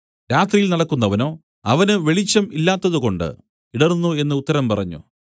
രാത്രിയിൽ നടക്കുന്നവനോ അവന് വെളിച്ചം ഇല്ലാത്തതുകൊണ്ട് ഇടറുന്നു എന്നു ഉത്തരം പറഞ്ഞു